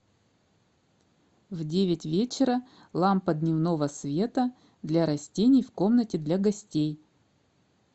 в девять вечера лампа дневного света для растений в комнате для гостей